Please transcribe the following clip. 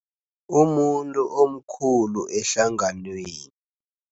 Umuntu omkhulu ehlanganweni.